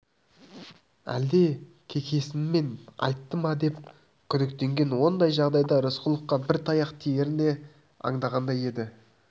әлде кекесінмен айтты ма деп те күдіктенген ондай жағдайда рысқұловқа бір таяқ тиерін де аңдағандай еді